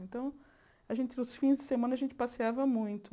Então, a gente, nos fins de semana, a gente passeava muito.